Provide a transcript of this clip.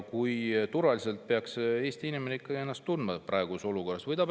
Kui turvaliselt peaks Eesti inimene ikkagi ennast tundma praeguses olukorras?